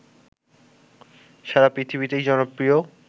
সারা পৃথিবীতেই জনপ্রিয়